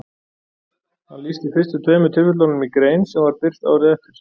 hann lýsti fyrstu tveimur tilfellunum í grein sem var birt árið eftir